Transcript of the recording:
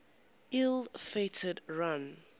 ill fated run